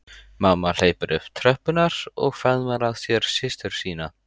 Mamma hleypur upp tröppurnar og faðmar að sér systur sína.